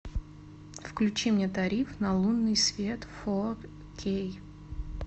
включи мне тариф на лунный свет фо кей